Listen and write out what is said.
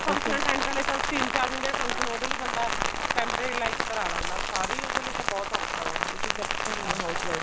ਹਾਂ function attend ਕਰ ਲਿਆ ਚਲ ਤਿੰਨ ਚਾਰ ਦਿਨ function ਹੈ ਚਲ ਉਹਦੇ ਲਈ ਬੰਦਾ temporary like ਕਰਵਾ ਲੈਂਦਾ ਸਾਰਾ ਉਹਦੇ ਲਈ ਤਾਂ ਬਹੁਤ ਔਖਾ ਵਾ ਇਹ ਚੀਜ਼ਾਂ ਕਿੱਥੇ ਹੁੰਦੀਆਂ housewife ਤੋਂ